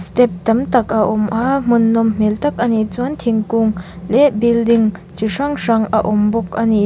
step tam tak a awm a hmun nawm hmel tak a ni chuan thingkung leh building chi hrang hrang a awm bawk a ni.